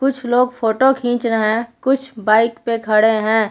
कुछ लोग फोटो खींच रहे हैं कुछ बाइक पे खड़े हैं।